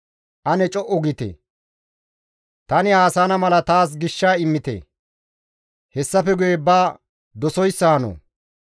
Ane co7u giite! Tani haasayana mala taas gisha immite; hessafe guye ba dosoyssa hano.